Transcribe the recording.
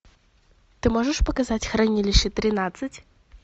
ты можешь показать хранилище тринадцать